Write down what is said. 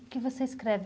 O que você escreve?